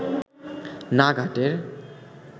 না ঘাটের